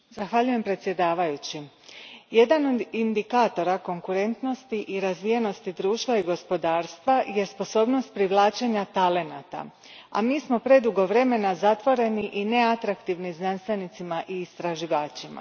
Gospođo predsjednice, jedan od indikatora konkurentnosti i razvijenosti društva i gospodarstva jest sposobnost privlačenja talenata, a mi smo predugo vremena zatvoreni i neatraktivni znanstvenicima i istraživačima.